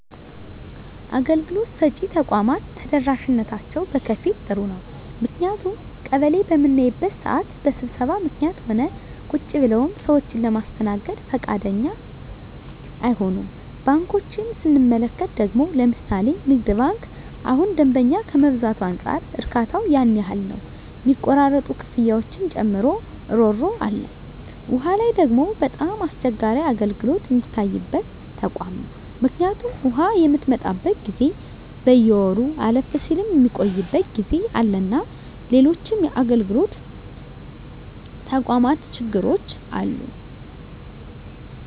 አገልግሎት ሰጭ ተቋማት ተደራሽነታቸው በከፊል ጥሩ ነው ምክንያቱም ቀበሌ በምናይበት ስዓት በስብሰባ ምክኒትም ሆነ ቁጭ ብለውም ሰዎችን ለማስተናገድ ብዙ ፈቃደኛ አይሆኑም። ባንኮችን ስንመለከት ደግሞ ለምሣሌ ንግድ ባንክ እሁን ደንበኛ ከመብዛቱ አንፃር እርካታው ያን ያህል ነው ሚቆራረጡ ክፍያዎችን ጨምሮ እሮሮ አለ። ዉሃ ላይ ደግሞ በጣም አስቸጋሪ አገልግሎት ሚታይበት ተቋም ነው ምክኒቱም ውሃ ምትመጣበት ጊዜ በየወሩ አለፍም ስል ሚቆይበት ጊዜ አለና ሎሎችም የአገልግሎት ተቋማት ችግሮች አሉ።